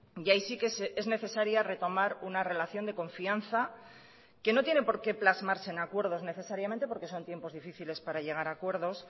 y ahí sí que es necesaria retomar una relación de confianza que no tiene porqué plasmarse en acuerdos necesariamente porque son tiempos difíciles para llegar a acuerdos